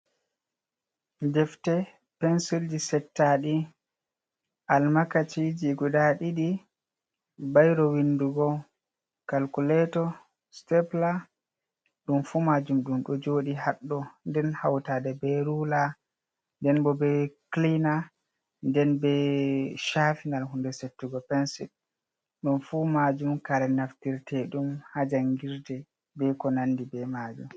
Defte, pensilji setta ɗi, almakaci ji guda ɗiɗi, bairo windugo, calculeto, stepla, ɗum fu majum ɗum ɗo joɗi ha ɗo nden hautade be rula, nden bo be clina, den be cafinal hunde settugo pensul, ɗum fu majum kare naftirte ɗum ha jangirde be ko nandi be majum.